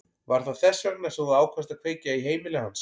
Var það þess vegna sem þú ákvaðst að kveikja í heimili hans?